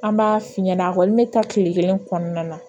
An b'a f'i ɲɛna a kɔni bɛ taa kile kelen kɔnɔna na